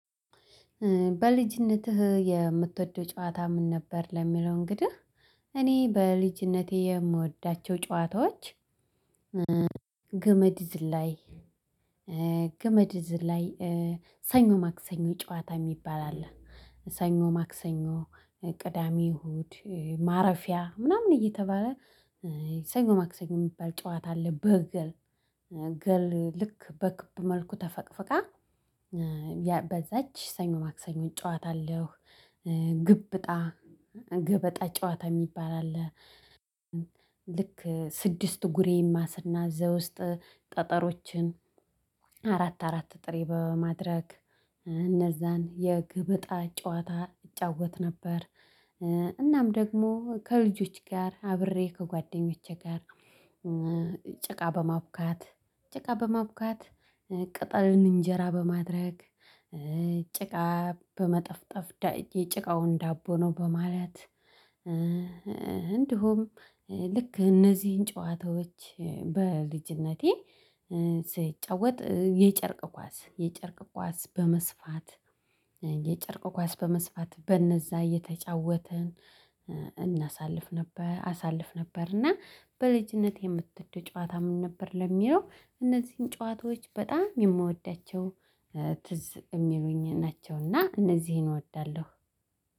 በልጅነትህ የምትወደው ጨዋታ ምን ነበር? ለሚለው እንግዲህ እኔ በልጅነቴ የምወዳቸው ጨዋታዎች ግመድ ዝላይ ግመድ ዝላይ ሰኞ ማክሰኞ ጨዋታ የሚባል አለ። ሰኞ ማክሰኞ ቅዳሜ እሁድ ማረፊያ ምናምን እየተባለ ሰኞ ማክሰኞ የሚባል ጨዋታ አለ በግል ግል ልክ በክብ መልኩ ተፈቅፍቃ በዛች ሰኞ ማክሰኞን ጨዋታ አለው ግብጣ ገበጣ ጨዋታ የሚባል አለ። ልክ ስድስት ጉሬማ ስናዝ ውስጥ ጠጠሮችን አራት አራት ጥሬ በማድረግ እነዛን የገበጣ ጨዋታ እጫወት ነበር። እናም ደግሞ ከልጆች ጋር አብሬ ከጓደኞቼ ጋር ጭቃ በማብካት ጭቃ በማቡካት ቅጠልን እንጄራ በማድረግ ጭቃ በመጠፍጠፍ ጭቃውን ዳቦ ነው በማለት እንዲሁም ልክ እነዚህን ጨዋታዎች በልጅነቴ ስትጫወት የጨርቅ ኳስ የጨርቅ ኳስ በመስፋት የጨርቅ ኳስ በመስፋት በነዛ እየተጫወተን እናሳልፍ ነበር አሳልፍ ነበር እና በልጅነቴ የምትወድ ጨዋታ ምን ነበር? ለሚለው እነዚህን ጨዋታዎች በጣም የምወዳቸው። ትዝ የሚሉኝ ናቸው እና እንደዚህ እወዳለሁው።